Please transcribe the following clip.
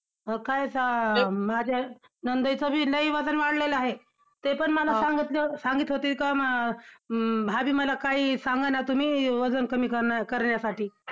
काय ~तर~ माझ्या नणंदेचं बी लय वजन वाढलेले आहे, ते पण मला सांगितले, सांगित होते का भाभी मला काही सांगा ना तुम्ही वजन कमी कर ~ करण्यासाठी.